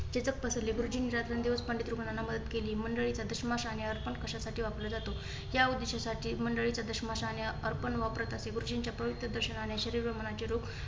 चिंतक पसरले. गुरुजींनी रात्रंदिवस पंडित लोकांना मदत केली. मंडळी अर्पण कशा साठी वापरला जातो? या उदेष्यसाठी काही मंडळी व अर्पण वापरत असे. गुरुजींच्या पवित्र दर्शनाने शरीर व मनाचे रोग